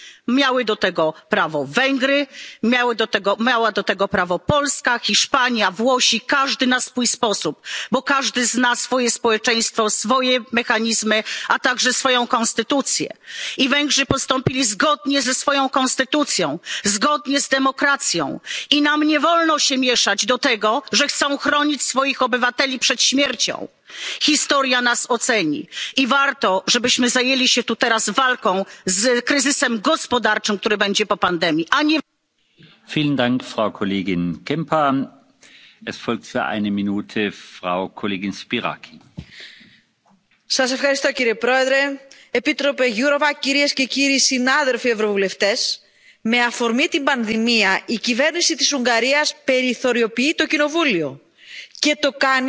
Miały do tego prawo Węgry, Polska, Hiszpania, Włochy. Każdy na swój sposób, bo każdy zna swoje społeczeństwo, swoje mechanizmy, a także swoją konstytucję. Węgrzy postąpili zgodnie ze swoją konstytucją, zgodnie z demokracją i nam nie wolno się mieszać do tego, że chcą chronić swoich obywateli przed śmiercią. Historia nas oceni i warto, żebyśmy zajęli się tu i teraz walką z kryzysem gospodarczym, który będzie po pandemii,